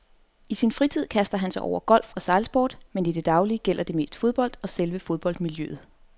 I sin fritid kaster han sig over golf og sejlsport, men i det daglige gælder det mest fodbold og selve fodboldmiljøet.